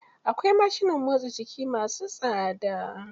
Akwai mashinan motsa jiki masu tsada.